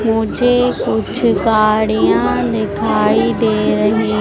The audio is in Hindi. मुझे कुछ गाड़ियां दिखाई दे रही--